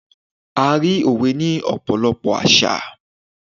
a rí òwe ni ọpọlọpọ àṣà